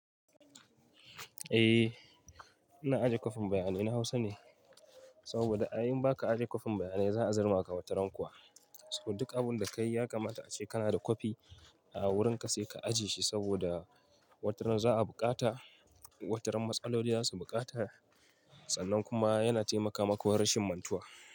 Eh, ina ajiye kwafin bayanai na Hausa ne, saboda in ba ka ajiye kwafin bayanai za a zarmaka wataran kuwa. Saboda duk abun da ka yi yakamata ace kana da kwafi a wurinka sai ka ajiye shi saboda wataran za a buƙata, wataran matsaloli za su buƙata, tsanan kuma yana taimakawa rashin mantuwa.